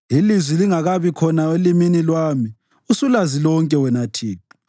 Ilizwi lingakabi khona elimini lwami usulazi lonke, wena Thixo.